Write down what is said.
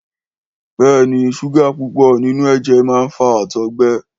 Béèni, súgà púpò nínú èjè man fa àtọ̀gbẹ